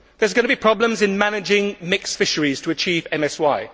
There are going to be problems in managing mixed fisheries to achieve MSY.